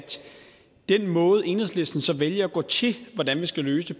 den måde hvorpå enhedslisten så vælger at gå til hvordan vi skal løse